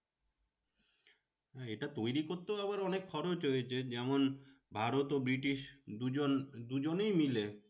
হ্যাঁ এটা তৈরী করতেও আবার অনেক খরচ হয়েছে যেমন ভারত তো ব্রিটিশ দুজন, দুজনেই মিলে